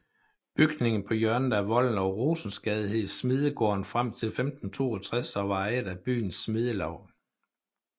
Bygningen på hjørnet af Volden og Rosensgade hed smedegården frem til 1562 og var ejet af byens smedelaug